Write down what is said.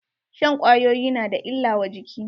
Shan kwayoyi na da illa wa jiki.